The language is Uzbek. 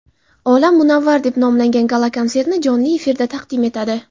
olam munavvar deb nomlangan gala-konsertni jonli efirda taqdim etadi.